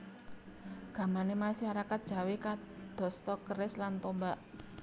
Gamané masyarakat Jawi kadosta keris lan tombak